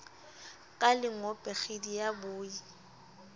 ka lengope kgidi ya boi